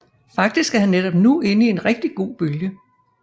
Faktisk er han netop nu inde i en rigtig god bølge